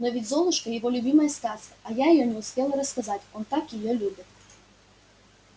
но ведь золушка его любимая сказка а я её не успела рассказать он так её любит